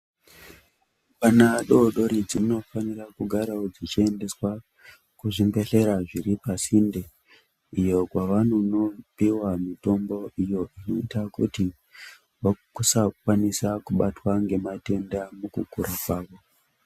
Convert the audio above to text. Rumbwana dori dori dzinofanirawo kugara wo dzichiendeswa kuzvibhedhlera zviri pasinde iyo kwavanonopiwa mitombo iyo inoita kuti vasakwanisa kubatwa ngematenda mukukura kwavo.